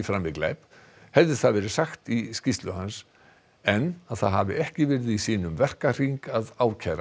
framið glæp hefði það verið sagt í skýrslu hans en að það hafi ekki verið í sínum verkahring að ákæra